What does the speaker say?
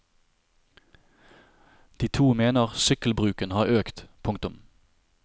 De to mener sykkelbruken har økt. punktum